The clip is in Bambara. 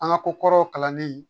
An ka ko kɔrɔw kalanlen